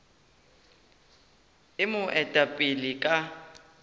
e mo eta pele ka